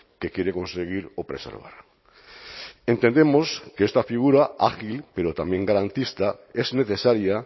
que quiere conseguir o preservar entendemos que esta figura ágil pero también garantista es necesaria